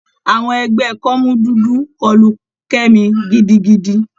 Àwọn ẹgbẹ́ kọ́mú dúdú kọlu Kemi gidigidi.